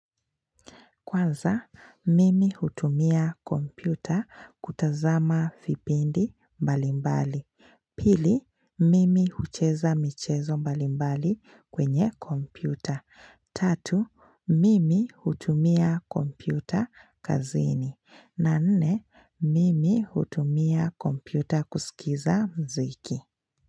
Kwanza, mimi hutumia kompyuta kutazama vipindi mbalimbali. Pili, mimi hucheza michezo mbalimbali kwenye kompyuta. Tatu, mimi hutumia kompyuta kazini. Na nne, mimi hutumia kompyuta kusikiza mziki.